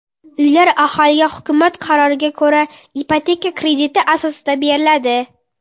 Uylar aholiga hukumat qaroriga ko‘ra ipoteka krediti asosida beriladi.